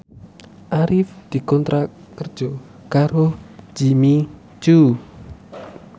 Arif dikontrak kerja karo Jimmy Coo